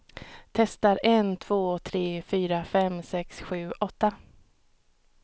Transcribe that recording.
Testar en två tre fyra fem sex sju åtta.